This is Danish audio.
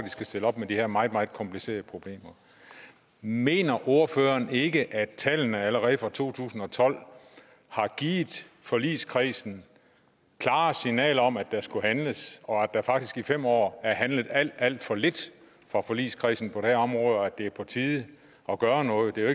skal stille op med de her meget meget komplicerede problemer mener ordføreren ikke at tallene allerede fra to tusind og tolv har givet forligskredsen klare signaler om at der skulle handles og at der faktisk i fem år er handlet alt alt for lidt fra forligskredsens side på det her område og at det er på tide at gøre noget det er